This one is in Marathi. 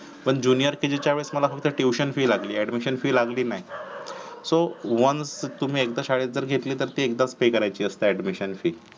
पण jr kg च्या वेडी मला फक्त tuition fee लागली admission fees लागली नाही so once तुम्ही एकदा शाळेत जरी गेतली तर एकदाच पे करयायेची असत admission fee